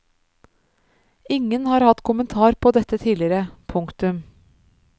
Ingen har hatt kommentar på dette tidligere. punktum